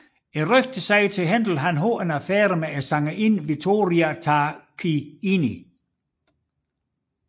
Efter rygtet havde Händel en affære med sangerinden Vittoria Tarquini